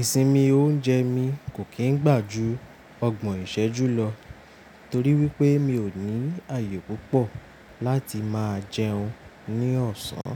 Ìsinmi oúnjẹ mi kò kín gbà ju ọgbọ̀n ìṣẹ́jú lọ torí wípé mi ò ní àyè púpọ̀ láti máa jẹun ní ọ̀sán.